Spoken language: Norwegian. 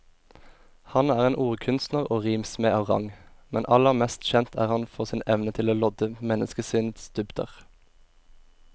Han er en ordkunstner og rimsmed av rang, men aller mest kjent er han for sin evne til å lodde menneskesinnets dybder.